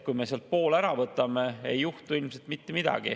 Kui me sealt poole ära võtame, ei juhtu ilmselt mitte midagi.